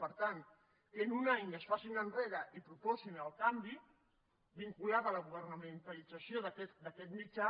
per tant que en un any es facin enrere i proposin el canvi vinculat a la governamentalització d’aquest mitjà